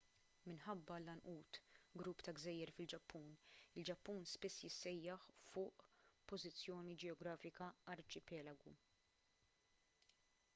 minħabba l-għanqud/grupp ta’ gżejjer fil-ġappun il-ġappun spiss jissejjaħ fuq pożizzjoni ġeografika arċipelagu.